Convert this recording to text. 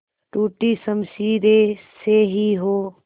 टूटी शमशीरें से ही हो